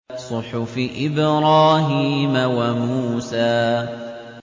صُحُفِ إِبْرَاهِيمَ وَمُوسَىٰ